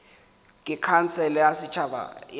ke khansele ya setšhaba ya